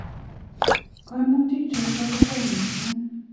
Kaimutik chotok ko chang mising.